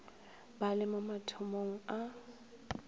ba le mo mathomong a